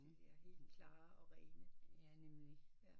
Ja helt klare og rene